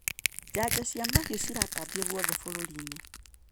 Janjo cia mahiũ ciratambio guothe bũrũrinĩ.